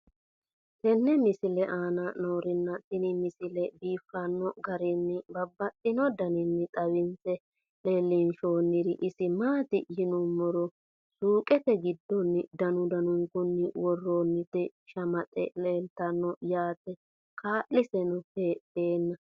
tenne misile aana noorina tini misile biiffanno garinni babaxxinno daniinni xawisse leelishanori isi maati yinummoro suuqqette giddonni danu danunkunni woroonnitti shamaxxe leelittanno yaatte kaalisenno heedhanna